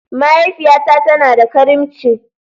Mahaifiyata tana da karimci.